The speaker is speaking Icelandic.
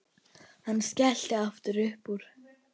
Hann skellti aftur upp úr.